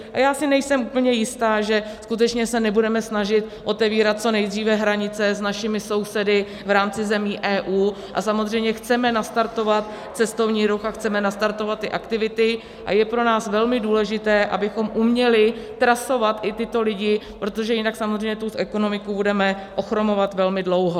A já si nejsem úplně jistá, že skutečně se nebudeme snažit otevírat co nejdříve hranice s našimi sousedy v rámci zemí EU, a samozřejmě chceme nastartovat cestovní ruch a chceme nastartovat ty aktivity a je pro nás velmi důležité, abychom uměli trasovat i tyto lidi, protože jinak samozřejmě tu ekonomiku budeme ochromovat velmi dlouho.